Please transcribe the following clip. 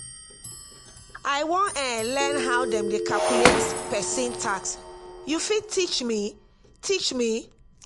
i wan um learn how dem dey calculate pesin tax you fit teach me? teach me?